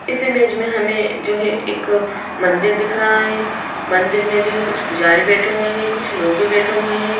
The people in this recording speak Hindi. इस इमेज में हमें जो है एक मंदिर दिख रहा है मंदिर में जो है कुछ पुजारी बैठे हुए हैं कुछ लोग भी बैठे हुए हैं।